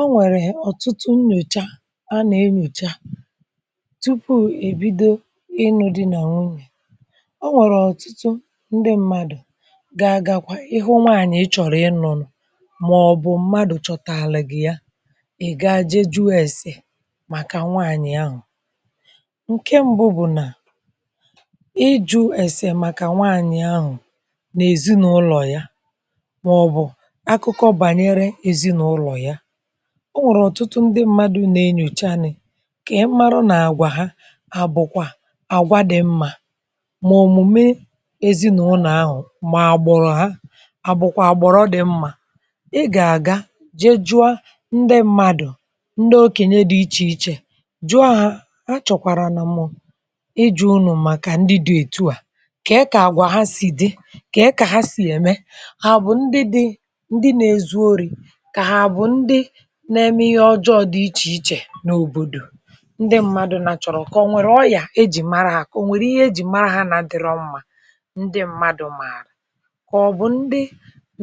O nwèrè ọtụtụ nnyòcha a nà-enyòcha tupu èbido inù di nà nwunye. O nwèrè ọtụtụ ndị mmadụ gaa gakwa, ịhụ nwaanyị ị chọrọ ịnụnụ mà ọ bụ mmadụ chọtàlụ gị ya, ị gaa jejuọ ese màkà nwaanyị ahụ. Ǹke mbụ bụ nà, ịju esè màkà nwaanyị ahụ n’ezinụlọ ya mà ọ bụ akụkọ banyere ezinụlọ ya. Ọ nwèrè ọtụtụ ndị mmadụ nà-enyocha nị kà ị marụ nà-àgwà ha àbụkwa àgwa dị mma, mà òmùme ezinàụlọ ahụ, mà gbụrụ ha àbụkwa gbụrụ dị mma. Ị gà-àga jee jụ a ndị mmadụ, ndị okènyè dị ichè ichè, jụọ ha a chọkwàrà nà mụ ijụ unù màkà ndị dị ètu à kè kà àgwà ha sì dị, kè kà ha sì ème, hà bụ ndị dị, ndị nà-ezu orì, kà ha bụ ndị na-eme ihe ọjọọ dị ichè ichè n’òbòdò ndị mmadụ na chọrọ, kà ọ nwèrè ọyà ejì mara ya, kà o nwèrè ihe ejì mara ha nà dịrọ mma ndị mmadụ mààrà, kà ọ bụ ndị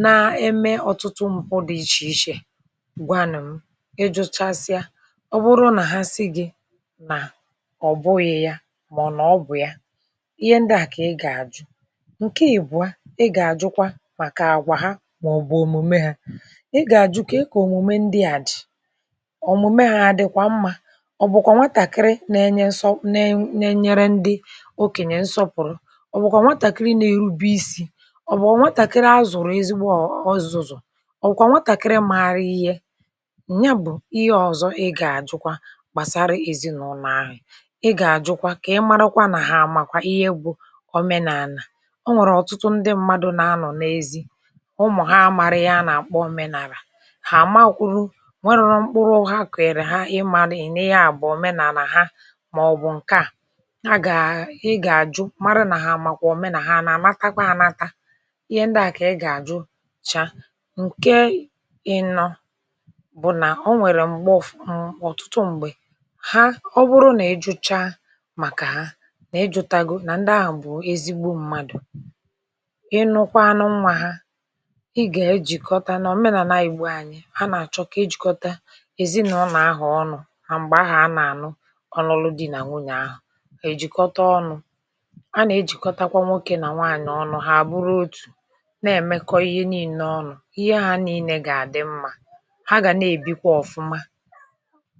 na-eme ọtụtụ mpụ dị ichè ichè, gwanụ m, ịjụchasịa, ọ bụrụ nà ha si gị nà ọ bụghị ya mà nà ọ bụ ya, ihe ndị à kà ị gà-àjụ. Ǹke ịbụa, ị gà-àjụkwa màkà àgwà ha mà ọ bụ òmùme ha, ị ga-aju kè kà ọmụme ndị a dị, ọmụme ha adịkwa mma, ọ bụ kwa nwatàkịrị na-enye nsọ, nà, na-enyere ndị okènyè nsọpụrụ, ọ bụ kwa nwatàkịrị na-erube ịsi, ọ bụ nwatàkịrị azụrụ ezigbo ọzọzọ, ọ bụ kwa nwatàkịrị maara ihe, ya bụ ihe ọzọ ị gà-àjụkwa gbàsara ezinụlọ ahụ. Ị gà-àjụkwa kà ị marụ kwa nà ha amakwa ihe bụ òmenàlà. O nwèrè ọtụtụ ndị mmadụ na-anọ n’ezi, umu ha amarị ihe anakpọ òmenàlà, ha ama kwuru, ọ nwèrọ mkpụrụ ha kụghiri ha n’ịmarị n’inya bụ òmenàlà ha mà ọ bụ ǹke a, na gà, ị gà-àjụ marụ nà ha amàkwa òmenà, mà ha nà-anata kwa anata, ihe ndị à kà ị gà-àjụchaa. Ǹke ịnọ bụ nà o nwèrè mgbe ọfu um ọtụtụ mgbè, ha, ọ bụrụ nà ị jụcha màkà ha, n’ịjụtago, nà ndị ahụ bụ ezigbo mmadù, ị nụ kwanụ nwa ha, ị gà-ejìkọta na o menàla igbo anyị, ha na-achọ kà ejikota ezinụlọ ahụ ọnụ, na mgbè ahu a nà-ànụ ọrụlụ di nà nwunye ahụ, èjikọta ọnụ, a nà-ejìkọtakwa nwokè nà nwaanyị ọnụ hà àbụrụ otù nà-èmekọ ihe niile ọnụ, ihe ha niile gà-àdị mma, ha gà na-èbikwa ọfụma.